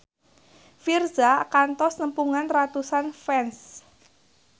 Virzha kantos nepungan ratusan fans